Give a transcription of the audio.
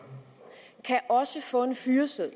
kan også få en fyreseddel